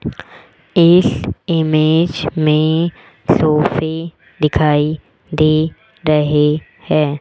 इस इमेज में सोफे दिखाई दे रहें हैं।